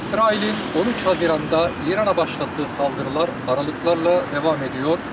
İsrailin 13 iyunda İrana başlatdığı saldırılar aralıqlarla davam edir.